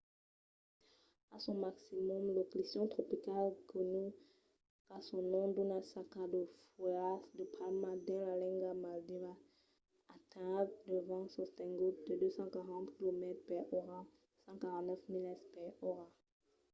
a son maximum lo ciclion tropical gonu qu'a son nom d'una saca de fuèlhas de palma dins la lenga de maldivas atenhèt de vents sostenguts de 240 quilomètres per ora 149 milas per ora